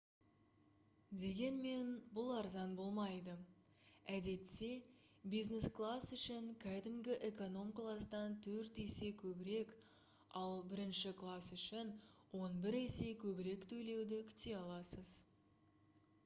дегенмен бұл арзан болмайды әдетте бизнес класс үшін кәдімгі эконом кластан төрт есе көбірек ал бірінші класс үшін он бір есе көбірек төлеуді күте аласыз